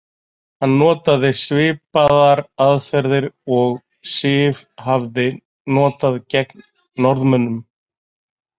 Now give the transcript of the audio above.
Hann notaði svipaðar aðferðir og Siv hafði notað gegn Norðmönnum.